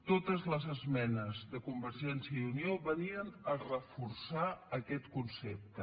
totes les esmenes de convergència i unió venien a reforçar aquest concepte